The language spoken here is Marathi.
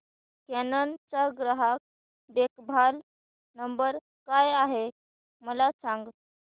कॅनन चा ग्राहक देखभाल नंबर काय आहे मला सांग